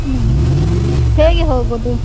ಹ್ಮ್‌ ಹೇಗೆ ಹೋಗೊದು.